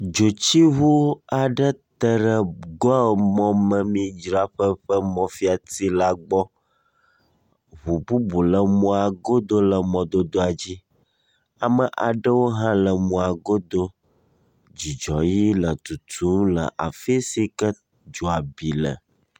Dzotsiŋu aɖe teɖe Goil mɔmemɔidzraƒe ƒe mɔfiati la gbɔ. Ŋu bubu le mɔa godo le mɔdodoa dzi. Ame aɖewo hã le mɔa godo. Dzudzɔʋi le tutum le afi si ke dzoa bi le.